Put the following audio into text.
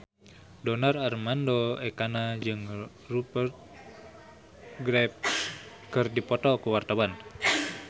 Donar Armando Ekana jeung Rupert Graves keur dipoto ku wartawan